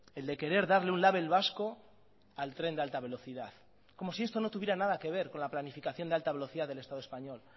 el de querer darle un label vasco al tren de alta velocidad como si esto no tuviera nada que ver con la planificación de alta velocidad del estado español